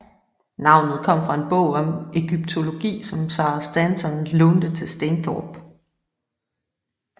Navnet kom fra en bog om egyptologi som Sarah Stanton lånte til Stainthorpe